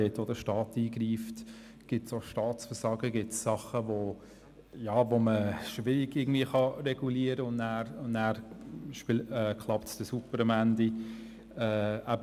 dort wo der Staat eingreift, gibt es auch Staatsversagen, gibt es Sachen, die man schwerlich irgendwie regulieren kann und dann klappt es am Ende super.